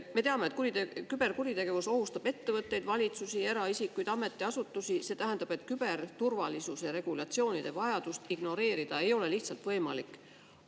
Me teame, et küberkuritegevus ohustab ettevõtteid, valitsusi, eraisikuid, ametiasutusi, see tähendab, et küberturvalisuse regulatsioonide vajadust ignoreerida ei ole lihtsalt võimalik.